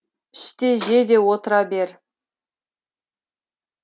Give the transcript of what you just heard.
іш те же де отыра бер